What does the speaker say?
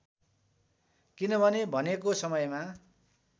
किनभने भनेको समयमा